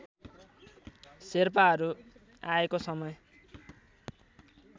शेर्पाहरू आएको समय